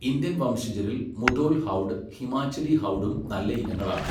Indian വംശജരിൽ Mudhol hound Himachali ഹൗഡും നല്ല ഇനങ്ങളാണ്.